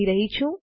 કહી રહ્યો છું